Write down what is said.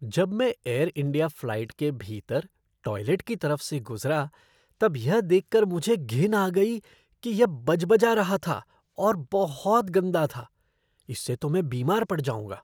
जब मैं Air India flight के भीतर टॉयलेट की तरफ से गुज़रा तब यह देख कर मुझे घिन आ गई कि यह बजबजा रहा था और बहुत गंदा था। इससे तो मैं बीमार पड़ जाऊँगा।